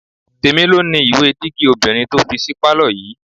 Tèmi ló ni ìwé dígí obìnrin tó fi sí pálọ̀ yìí